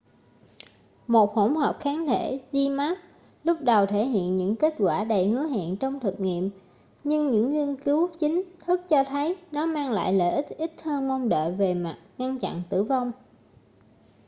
một hỗn hợp kháng thể zmapp lúc đầu thể hiện những kết quả đầy hứa hẹn trong thực nghiệm nhưng những nghiên cứu chính thức cho thấy nó mang lại lợi ích ít hơn mong đợi về mặt ngăn chặn tử vong